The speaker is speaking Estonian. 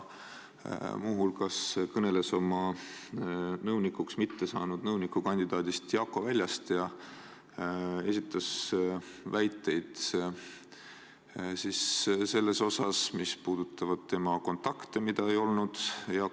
Muu hulgas kõneles ta oma nõunikuks mitte saanud nõunikukandidaadist Jakko Väljast ja esitas väiteid, mis puudutasid tema kontakte Jakko Väljaga.